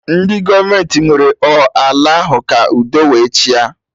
Ndị gọọmenti ewere ọ ala ahụ ka udo wee chịa